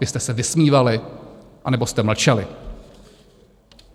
Vy jste se vysmívali, anebo jste mlčeli.